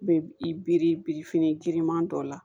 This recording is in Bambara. Bɛ i bi biri birifini giriman dɔ la